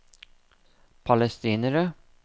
palestinere